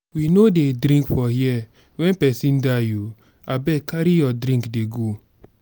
we no dey drink for here wen pesin die o abeg carry your drink dey go.